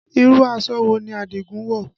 Irú aṣọ wo ni Adigun wọ̀?